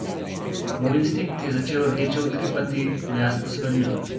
Moj instinkt je začel rdeče utripati, v jasno svarilo.